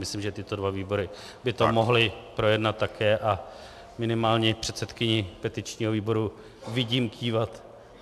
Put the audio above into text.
Myslím, že tyto dva výbory by to mohly projednat také, a minimálně předsedkyni petičního výboru vidím kývat.